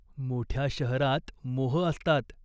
मोठ्या शहरात मोह असतात.